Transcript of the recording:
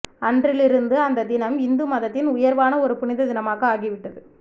அன்றிலிருந்து அந்த தினம் இந்து மதத்தின் உயர்வான ஒரு புனித தினமாக ஆகிவிட்டது